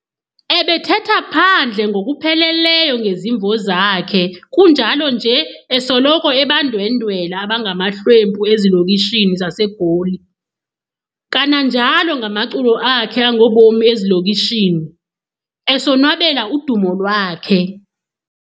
Ebethetha phandle ngokupheleleyo ngezimvo zakhe kunjalo nje esoloko ebandwendwela abangamahlwempu ezilokishini zaseGoli, kananjalo ngamaculo akhe angobomi ezilokishini, esonwabela udumo lwakhe.